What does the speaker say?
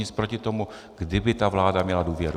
Nic proti tomu, kdyby ta vláda měla důvěru.